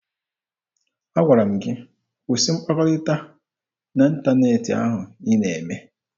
Agwara m gị kwụsị mkpakọrịta n'ịntaneetị ahụ ị na-eme!